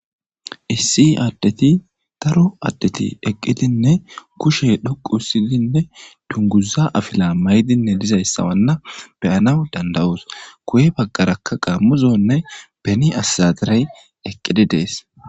issi addeti daro addeti eqqidinne kushe dhoqu hisdinne dunguza afila maydinne lizayssawanna beyana dandawus ku7e baggarakka qaammuzonne beni assataray eqqidi dees